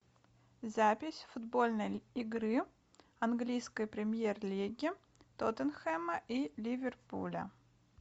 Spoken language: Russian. запись футбольной игры английской премьер лиги тоттенхэма и ливерпуля